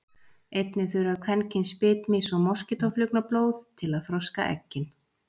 einnig þurfa kvendýr bitmýs og moskítóflugna blóð til að þroska eggin